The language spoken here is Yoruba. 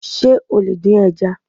Sé o lè dín ẹja?